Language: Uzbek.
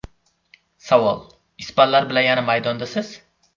Savol: Ispanlar bilan yana maydondasiz…?